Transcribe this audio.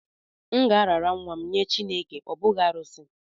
M ga-arara nwa m nye Chineke, ọ bụghị arụsị